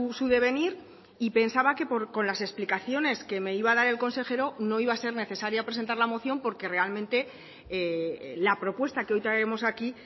su devenir y pensaba que con las explicaciones que me iba a dar el consejero no iba a ser necesaria presentar la moción porque realmente la propuesta que hoy traemos aquí